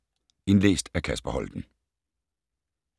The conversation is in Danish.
Indlæst af: